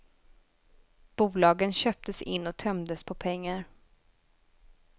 Bolagen köptes in och tömdes på pengar.